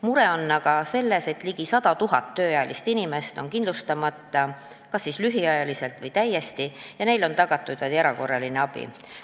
Mure on aga selles, et ligi 100 000 tööealist inimest on kindlustamata, kas siis lühiajaliselt või täiesti, ja neile on tagatud vaid erakorraline abi.